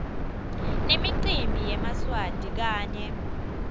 nemicimbi yemaswati kanye